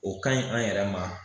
O ka ɲi an yɛrɛ ma